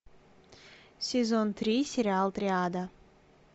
сезон три сериал триада